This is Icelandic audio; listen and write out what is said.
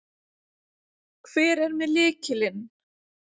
Hver er með lykilinn?